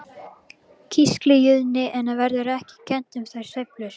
Kísiliðjunni verður ekki kennt um þær sveiflur.